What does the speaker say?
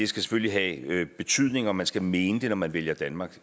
skal selvfølgelig have en betydning og man skal mene det når man vælger danmark